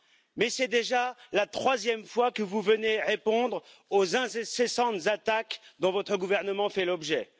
mais c'est déjà la troisième fois que vous venez répondre aux incessantes attaques dont votre gouvernement fait l'objet.